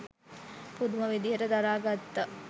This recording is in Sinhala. පුදුම විදිහට දරා ගත්තා.